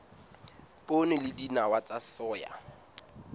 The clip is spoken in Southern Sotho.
poone le dinawa tsa soya